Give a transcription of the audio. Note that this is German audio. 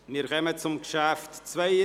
Wir kommen zum Traktandum 72: